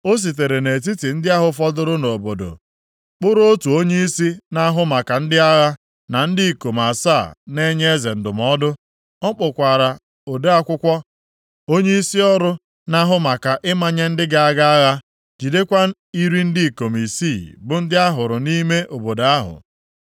O sitere nʼetiti ndị ahụ fọdụrụ nʼobodo kpụụrụ otu onyeisi na-ahụ maka ndị agha, na ndị ikom asaa na-enye eze ndụmọdụ. O kpukwaara ode akwụkwọ, onye isi ọrụ na-ahụ maka ịmanye ndị ga-aga agha, jidekwa iri ndị ikom isii bụ ndị a hụrụ nʼime obodo ahụ.